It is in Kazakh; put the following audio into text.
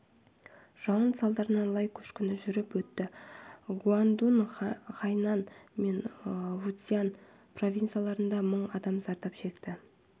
жауын салдарынан лай көшкіні жүріп өтті гуандун хайнань мен фуцзянь провинцияларында мың адам зардап шекті